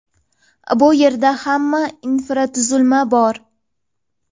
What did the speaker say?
Bu yerda hamma infratuzilma bor.